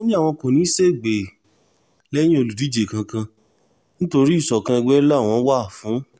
ó ní àwọn kò ní í ṣègbè lẹ́yìn olùdíje kankan nítorí ìṣọ̀kan ègbè làwọn wà fún